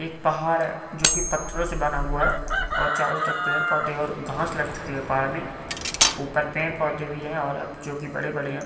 एक पहाड़ है जो की पत्थरों से बना हुआ है और चारो तरफ पेड़ पौधे और घास लग चुके पहाड़ मे ऊपर पेड़ पौधे भी है और अब जोकी बडे-बडे है।